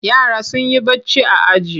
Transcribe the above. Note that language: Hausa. Yara sun yi barci a aji.